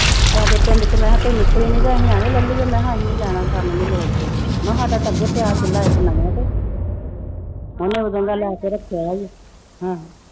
ਸਾਡੇ ਪਿੰਡ ਚ ਮੈਂ ਕਿਹਾ ਕੋਈ ਨਿਕਲੀ ਨੀ ਤੇ ਅਸੀਂ ਐਵੇਂ ਲੈ ਲਈਏ ਮੈਂ ਕਿਹਾ ਅਸੀਂ ਨੀ ਲੈਣਾ ਸਾਨੂੰ ਨੀ ਲੋੜ ਕੋਈ ਮੈਂ ਕਿਹਾ ਸਾਡਾ ਤਾਂ ਅੱਗੇ ਪਿਆ ਚੁੱਲਾ ਇੱਕ ਨਵੇਂ ਤੇ ਉਹਨੇ ਉਦੋਂ ਦਾ ਲੈ ਕੇ ਰੱਖਿਆ ਹੋਇਆ ਆਹੋ।